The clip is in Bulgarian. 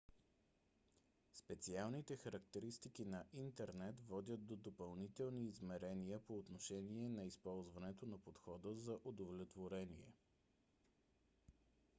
специалните характеристики на интернет водят до допълнителни измерения по отношение на използването на подхода за удовлетворение